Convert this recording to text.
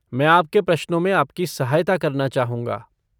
मैं आपके प्रश्नों में आपकी सहायता करना चाहूँगा।